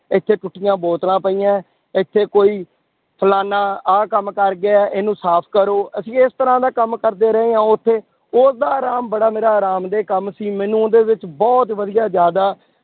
ਇੱਥੇ ਟੁੱਟੀਆਂ ਬੋਤਲਾਂ ਪਈਆਂ ਹੈ, ਇੱਥੇ ਕੋਈ ਫਲਾਨਾ ਆਹ ਕੰਮ ਕਰ ਗਿਆ ਹੈ, ਇਹਨੂੰ ਸਾਫ਼ ਕਰੋ, ਅਸੀਂ ਇਸ ਤਰ੍ਹਾਂ ਦਾ ਕੰਮ ਕਰਦੇ ਰਹੇ ਹਾਂ ਉੱਥੇ, ਉਹਦਾ ਆਰਾਮ ਬੜਾ ਮੇਰਾ ਆਰਾਮ ਦੇ ਕੰਮ ਸੀ ਮੈਨੂੰ ਉਹਦੇ ਵਿੱਚ ਬਹੁਤ ਵਧੀਆ ਜ਼ਿਆਦਾ